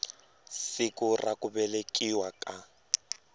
siku ra ku velekiwa ka